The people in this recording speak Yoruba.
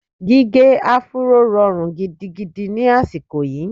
Gígẹ áfúró rọrùn gidigidi ni àsìkò yìí.